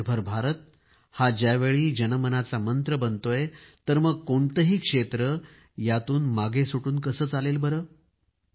आत्मनिर्भर भारत हा ज्यावेळी जनमनाचा मंत्र बनतोय तर मग कोणतेही क्षेत्र यातून मागे सुटून कसे काय चालणार